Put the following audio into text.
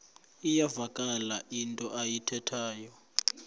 iyavakala into ayithethayo